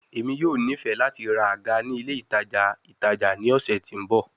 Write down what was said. Emi yoo nifẹ lati ra aga ni ile itaja itaja ni ọsẹ ti n bọ